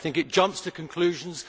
I think it jumps to conclusions